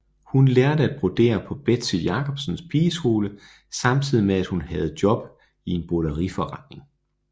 Hun lærte at brodere på Betzy Jacobsens pigeskole samtidig med at hun havde job i en broderiforretning